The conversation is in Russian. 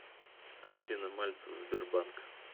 афина мальцев сбербанк